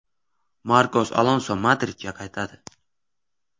Markos Alonso Madridga qaytadi.